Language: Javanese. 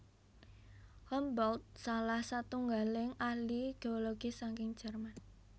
Humboldt salah satunggaling ahli geologi saking Jerman